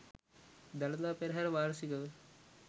දළදා පෙරහර වාර්ෂිකව